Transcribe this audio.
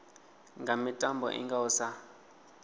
nga mitambo i ngaho sa